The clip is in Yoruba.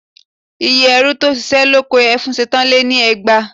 Iye ẹrú tó ṣiṣẹ́ lóko Ẹfúnṣetán lé ní ẹgbàá